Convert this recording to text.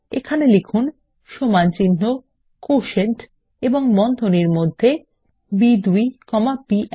এবং লিখুন সমানচিহ্ন কোটিয়েন্ট এবং বন্ধনীর মধ্যে বি2 কমা বি1